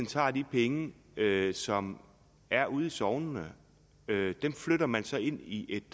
tager de penge som er ude i sognene dem flytter man så ind i et